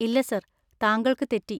ഇല്ല സർ താങ്കൾക്ക് തെറ്റി.